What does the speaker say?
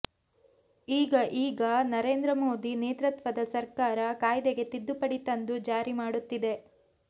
ಈಗ ಈಗ ನರೇಂದ್ರಮೋದಿ ನೇತೃತ್ವದ ಸರ್ಕಾರ ಕಾಯ್ದೆಗೆ ತಿದ್ದುಪಡಿ ತಂದು ಜಾರಿ ಮಾಡುತ್ತಿದೆ